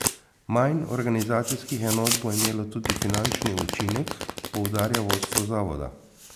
Manj organizacijskih enot bo imelo tudi finančni učinek, poudarja vodstvo zavoda.